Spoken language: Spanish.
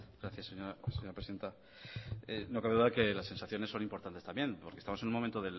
gracias señora presidenta no cabe duda de que la sensaciones son importantes también porque estamos en un momento